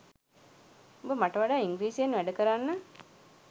උඹ මට වඩා ඉංග්‍රීසියෙන් වැඩ කරන්න